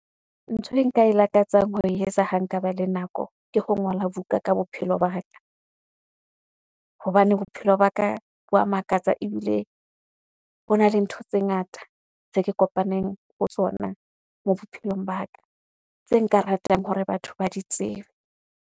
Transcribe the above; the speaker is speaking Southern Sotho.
Ntho e nka e lakatsang ho e etsa ha nkaba le nako, ke ho ngola buka ka bophelo ba ka. Hobane bophelo ba ka bo a makatsa ebile hona le ntho tse ngata tse ke kopaneng ho tsona moo bophelong ba ka tse nka ratang hore batho ba di tsebe.